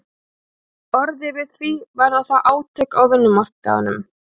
orðið við því, verða þá átök á vinnumarkaðnum?